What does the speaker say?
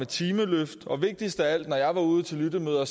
timeløft og vigtigst af alt når jeg var ude til lyttemøder